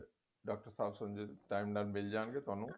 doctor sahib ਸਮਝੇ time ਨਾਲ ਮਿੱਲ ਜਾਣਗੇ ਤੁਹਾਨੂੰ